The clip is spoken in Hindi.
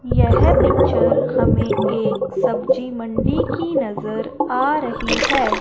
यह पिक्चर हमें एक सब्जी मंडी की नजर आ रही है।